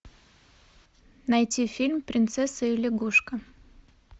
найти фильм принцесса и лягушка